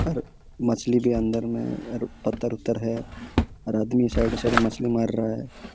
और मछली भी अंदर में हैं रु पत्थर-वत्थर हैं और आदमी साइड-साइड मछली मार रहा हैं।